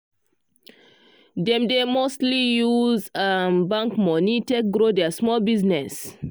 dem dey mostly use um bank money take grow their small business.